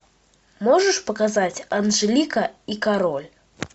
можешь показать анжелика и король